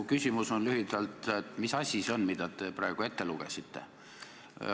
Mu küsimus on lühidalt selline: mis asi see on, mille te praegu ette lugesite?